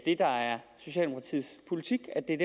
det der er socialdemokratiets politik er